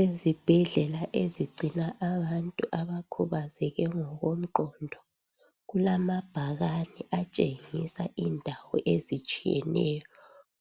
Ezibhedlela ezigcina abantu abakhubazeke ngokwengqondo kulamabhakani atshengisa indawo ezitshiyeneyo